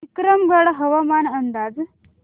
विक्रमगड हवामान अंदाज